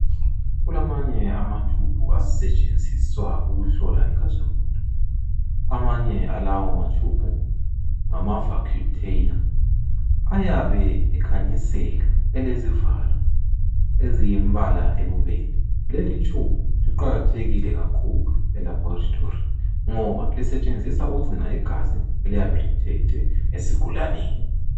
kulamanye ama tube asetshenziswa ukuhlola igazi lomuntu amanye alawo ma tube ngma vacutainer ayabe ekhanyisela elezivalo ziyimbala eyibubende le tube iqakathekile kakhulu e laboratory ngoba lisetshenziswa ukugcina igazi eliyabe lithethwe esigulaneni